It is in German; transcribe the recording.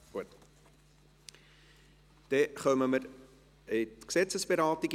Wir kommen zur Gesetzesberatung.